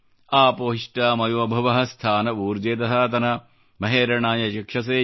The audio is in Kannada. ಆಪೊ ಹಿಷ್ಟಾ ಮಯೋ ಭುವಃ ಸ್ಥಾ ನ ಊರ್ಜೆ ದಧಾತನ ಮಹೆ ರಣಾಯ ಚಕ್ಷಸೆ